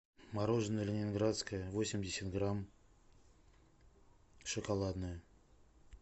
мороженое ленинградское восемьдесят грамм шоколадное